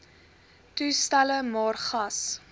toestelle maar gas